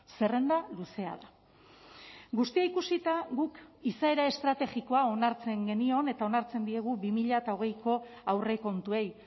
zerrenda luzea da guztia ikusita guk izaera estrategikoa onartzen genion eta onartzen diegu bi mila hogeiko aurrekontuei